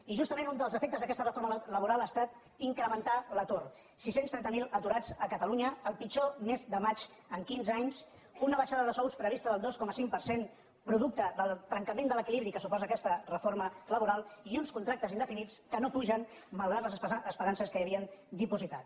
i justament un dels efectes d’aquesta reforma laboral ha estat incrementar l’atur sis cents i trenta miler aturats a catalu·nya el pitjor mes de maig en quinze anys una baixada de sous prevista del dos coma cinc per cent producte del trenca·ment de l’equilibri que suposa aquesta reforma labo·ral i uns contractes indefinits que no pugen malgrat les esperances que hi havien dipositat